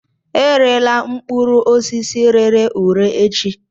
Erela mkpụrụ osisi rere ure echi!